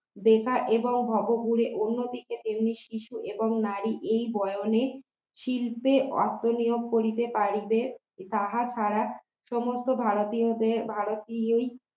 বেকার এবং ভবঘুরে অন্যদিকে তেমনি শিশু এবং নারী এই বয়নে শিল্পে অর্থ নিয়োগ করিতে পারিবে, যাহার দ্বারা সমস্ত ভারতীয়দের ভারতীয়